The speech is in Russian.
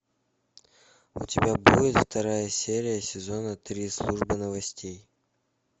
у тебя будет вторая серия сезона три служба новостей